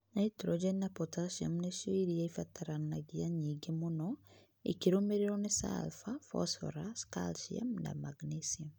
Nitrogen (N) na potassium (K) nĩcio irio iria irabatarania nyingĩ mũno, ikĩrũmĩrĩrũo nĩ sulphur (S), phosphorus (P), calcium (Ca) na magnesium (Mg).